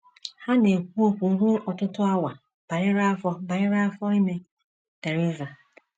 Ha na - ekwu okwu ruo ọtụtụ awa banyere afọ banyere afọ ime Theresa.